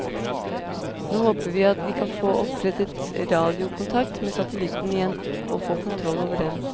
Nå håper vi at vi kan få opprettet radiokontakt med satellitten igjen og få kontroll over den.